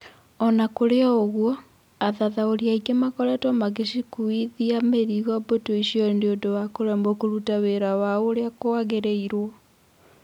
Ona kũrĩ o ũgũo, athathaũri aingĩ makoretwo magĩcikuithia mũrigo mbũtu icio nĩũndũ wa kũremwe kũruta wĩra wao ũrĩa kũagĩrĩirwo.